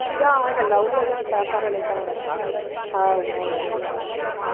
தான் இந்த love ல எல்லாம் trap ஆறே தவிர